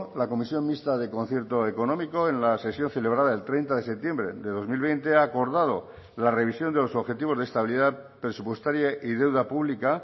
la comisión mixta de concierto económico en la sesión celebrada el treinta de septiembre de dos mil veinte ha acordado la revisión de los objetivos de estabilidad presupuestaria y deuda pública